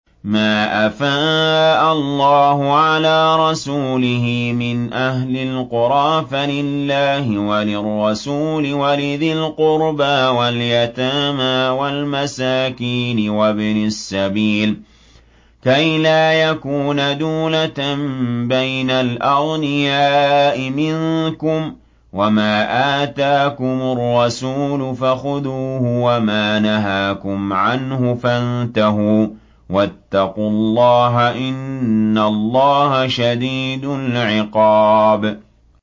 مَّا أَفَاءَ اللَّهُ عَلَىٰ رَسُولِهِ مِنْ أَهْلِ الْقُرَىٰ فَلِلَّهِ وَلِلرَّسُولِ وَلِذِي الْقُرْبَىٰ وَالْيَتَامَىٰ وَالْمَسَاكِينِ وَابْنِ السَّبِيلِ كَيْ لَا يَكُونَ دُولَةً بَيْنَ الْأَغْنِيَاءِ مِنكُمْ ۚ وَمَا آتَاكُمُ الرَّسُولُ فَخُذُوهُ وَمَا نَهَاكُمْ عَنْهُ فَانتَهُوا ۚ وَاتَّقُوا اللَّهَ ۖ إِنَّ اللَّهَ شَدِيدُ الْعِقَابِ